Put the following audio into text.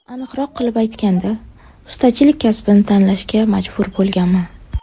Aniqroq qilib aytganda, ustachilik kasbini tanlashga majbur bo‘lganman.